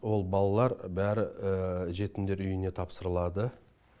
ол балалар бәрі жетімдер үйіне тапсырылады